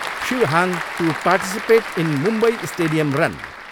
Shiv Hang to participate in Mumbai stadium run.